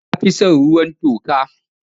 Na fi son ruwan toka.